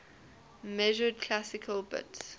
measured classical bits